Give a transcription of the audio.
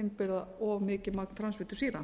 innbyrða of mikið magn transfitusýra